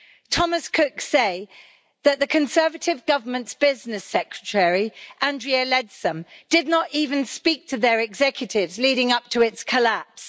Thomas Cook say that the Conservative government's business secretary, Andrea Leadsom, did not even speak to their executives leading up to its collapse.